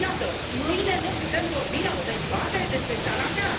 Iată, mâine nu putem vorbi la o dezbatere despre țara mea.